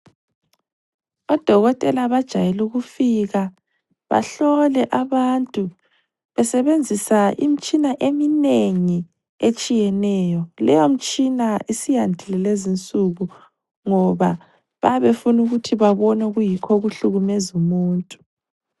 Odokotela bajayele ukufika bahlole abantu besebenzisa imitshina eminengi etshiyeneyo, leyo mtshina isiyandile kulezinsuku ngoba bayabe befuna ukuthi babone okuyikho okuhlukumeza umuntu.